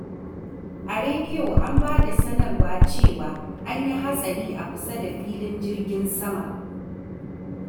A rediyo an ba da sanarwa cewa an yi hatsari a kusa da filin jirgin sama.